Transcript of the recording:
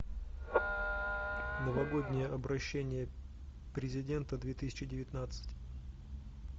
новогоднее обращение президента две тысячи девятнадцать